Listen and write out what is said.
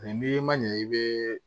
Ni n'i ma ɲɛ i bɛ